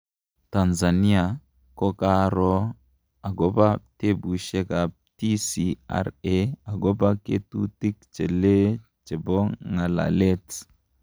Tanzania ko kaaroo agopa tupushek ap TCRA agopa ketutik che lee chepo ngalalet.